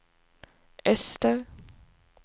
öster